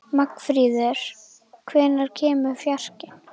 Magnfríður, hvenær kemur fjarkinn?